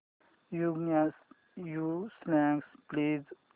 new songs please